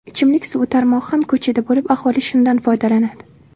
Ichimlik suvi tarmog‘i ham ko‘chada bo‘lib, aholi shundan foydalanadi.